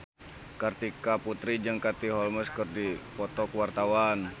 Kartika Putri jeung Katie Holmes keur dipoto ku wartawan